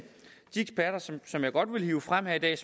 de eksperter som jeg godt vil hive frem her i dag